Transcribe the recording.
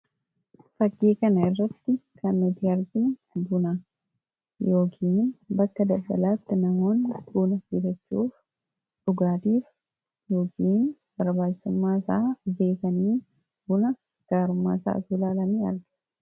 faggii kana irratti kanmati hargin buna yoogin bakka dabelaatti namoon buna birachuuf dhugaatiif yoogiin barbaacummaa isaa beekaniin buna gaarumaa isaa julaalamii arga